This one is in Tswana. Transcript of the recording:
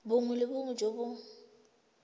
bongwe le bongwe jo bo